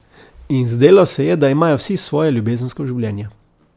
In zdelo se je, da imajo vsi svoje ljubezensko življenje.